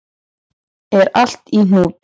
Er allt í hnút?